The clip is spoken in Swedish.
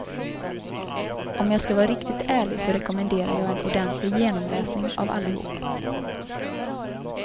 Om jag skall vara riktigt ärlig så rekommenderar jag en ordentlig genomläsning av allihop.